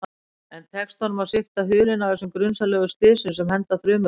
En tekst honum að svipta hulunni af þessum grunsamlegu slysum, sem henda þrumurnar?